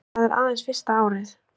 En það er aðeins fyrsta árið